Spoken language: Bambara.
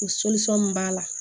O min b'a la